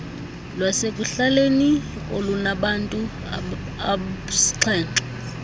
lwasekuhlaleni olunabantu absixhenxe